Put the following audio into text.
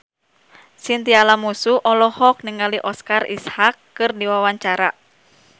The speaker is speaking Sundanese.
Chintya Lamusu olohok ningali Oscar Isaac keur diwawancara